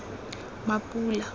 mapula